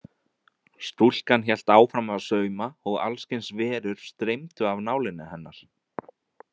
Stúlkan hélt áfram að sauma og alls kyns verur streymdu af nálinni hennar.